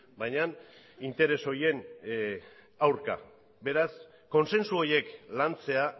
baina interes horien aurka beraz kontsentsu horiek lantzea